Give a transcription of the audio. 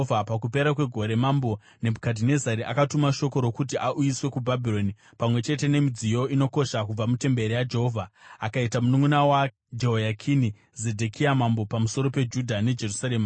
Pakupera kwegore, Mambo Nebhukadhinezari akatuma shoko rokuti auyiswe kuBhabhironi pamwe chete nemidziyo inokosha kubva mutemberi yaJehovha, akaita mununʼuna waJehoyakini, Zedhekia, mambo pamusoro peJudha neJerusarema.